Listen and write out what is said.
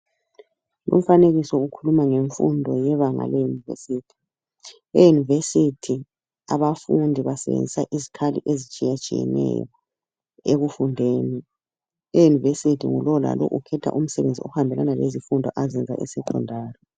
Umfanekiko ukhuluma ngemfundo yebanga le-university. E-university abafundi basebenzisa izikhali ezitshiyatshiyeneyo ekufundeni. E-university; ngulowo lalowo ukhetha umsebenzi ohambelana lezifundo azenza e secondary